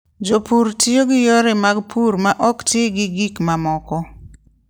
Jopur tiyo gi yore mag pur ma ok ti gi gik mamoko.